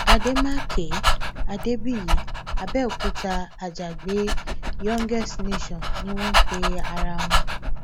àdèmàkè adébíyì àbẹòkúta àjàgbé youngest nation ni wọn ń pe ara wọn